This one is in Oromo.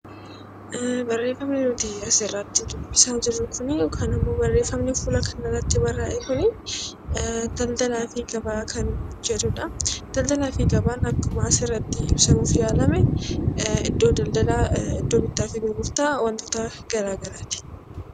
Barreeffamni nuti asirratti dubbisaa jirru kuni yookaan immoo barreeffamni fuula kana irratti barraa'e kuni daldalaa fi gabaa kan jedhudha. Daldalaa fi gabaan akkuma asirratti ibsamuuf yaalame iddoo daldalaa, iddoo bittaa fi gurgurtaa waantota garaa garaati.